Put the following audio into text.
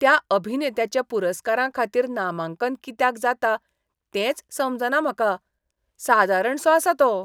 त्या अभिनेत्याचें पुरस्कारांखातीर नामांकन कित्याक जाता तेंच समजना म्हाका. सादारणसो आसा तो.